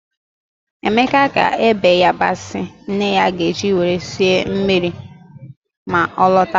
Emeka ga-ebe yabasị nne ya ga-eji were sie mri ma ọ lọta.